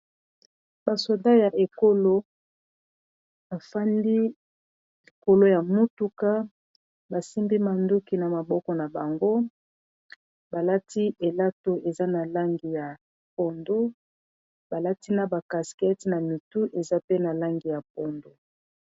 Ba soda ya ekolo bafandi likolo ya motuka, basimbi manduki na maboko na bango balati elato eza na langi ya pondou balati na ba caskete na mitu eza pe na langi ya pondou.